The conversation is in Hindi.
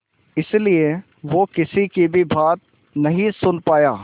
इसलिए वो किसी की भी बात नहीं सुन पाया